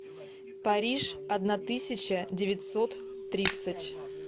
париж одна тысяча девятьсот тридцать